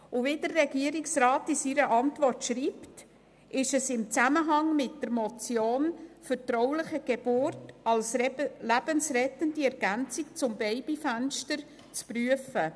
Wie der Regierungsrat in seiner Antwort schreibt, ist das Anliegen im Zusammenhang mit der Motion zum Thema vertrauliche Geburt als lebensrettende Ergänzung zum Babyfenster zu prüfen.